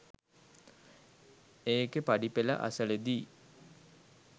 ඒකේ පඩිපෙළ අසලදී